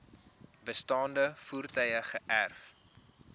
bestaande voertuie geërf